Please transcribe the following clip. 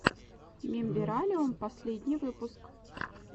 мембералиум последний выпуск